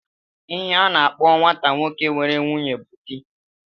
Ihe a na-akpọ nwata nwoke nwere nwunye bụ di